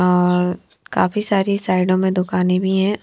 आ काफी सारी साइडों में दुकानें भी है।